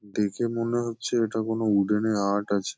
দেখে মনে হচ্ছে এটা কোনো উডেন -এ আর্ট আছে।